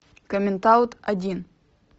коммент аут один